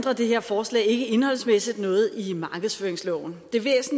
det her forslag ikke indholdsmæssigt noget i markedsføringsloven